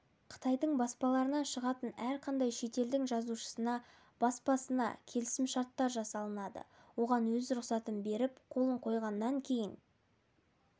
қытайдың баспаларынан шығатын әрқандай шетелдің жазушысына баспасына келісімшарттар жасалынады оған өз рұқсатын беріп қолын қойғаннан кейін